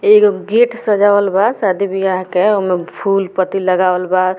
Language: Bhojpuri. एगो गेट सजावल बा शादी ब्याह के ओय मे फूल पत्ती लगावल बा।